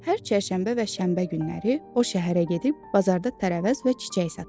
Hər çərşənbə və şənbə günləri o şəhərə gedib bazarda tərəvəz və çiçək satır.